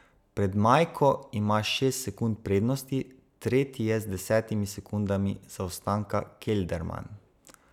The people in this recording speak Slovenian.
Pred Majko ima šest sekund prednosti, tretji je z desetim sekundami zaostanka Kelderman.